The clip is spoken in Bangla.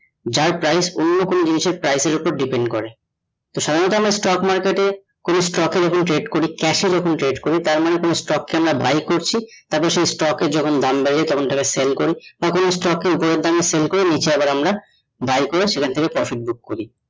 তো সাধারণত আমরা stock market এ কোনো stock এর ওপর trade করি, cash ওপর trade করি, তার মানে কোনো stock কে আমরা buy করছি, তার পর সেই stock এর যখন দাম বেড়ে যায় আমরা তখন টা কে sell করি হাঁ কোনো stock কে ওপরের দামে sell করি, নিচে আবার আমরা buy করে আমরা profit book করি ।